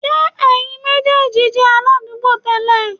Ṣé ẹ̀yin méjèèjì jẹ́ aládùúgbò tẹ́lẹ̀?